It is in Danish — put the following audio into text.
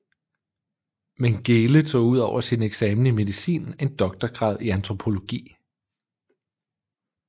Mengele tog ud over sin eksamen i medicin en doktorgrad i antropologi